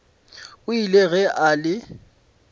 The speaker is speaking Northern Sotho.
o ile ge a le